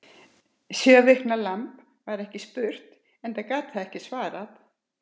Sjö vikna lamb var ekki spurt, enda gat það ekki svarað.